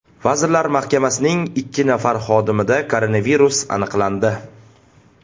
Vazirlar Mahkamasining ikki nafar xodimida koronavirus aniqlandi.